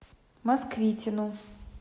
москвитину